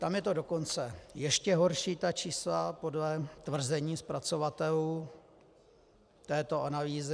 Tam je to dokonce ještě horší, ta čísla, podle tvrzení zpracovatelů této analýzy.